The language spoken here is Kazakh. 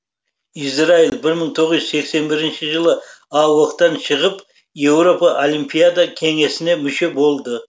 израиль мың тоғыз жүз сексен бірінші жылы аок тан шығып еуропа олимпиада кеңесіне мүше болды